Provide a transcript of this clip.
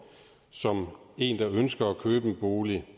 som en der ønsker at købe en bolig